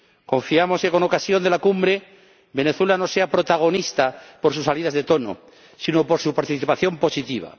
Confiamos en que, con ocasión de la Cumbre, Venezuela no sea protagonista por sus salidas de tono sino por su participación positiva.